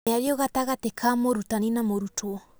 Mĩario gatagatĩ ka mũrutani na mũrutwo.